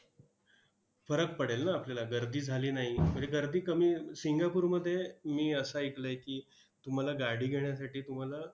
फरक पडेल ना आपल्याला. गर्दी झाली नाही, म्हणजे गर्दी कमी सिंगापूरध्ये मी असं ऐकलंय की, तुम्हाला गाडी घेण्यासाठी तुम्हाला